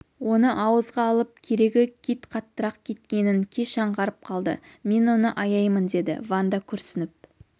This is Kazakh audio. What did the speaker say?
оны ауызға алып керегі кит қаттырақ кеткенін кеш аңғарып қалды мен оны аяймын деді ванда күрсініп